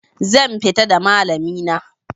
Zan fita da malami na